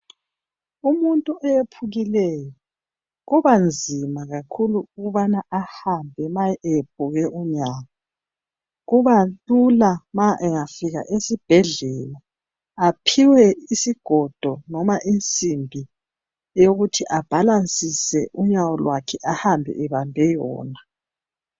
Umuntu oyephukileyo kuba nzima kakhulu ukubana ahambe ma egobe unyawo . Kuba lula ma engafika esibhedlela aphiwe isigodo noma insimbi eyokuthi abhalansise unyawo lwakhe ahambe ebambe wona.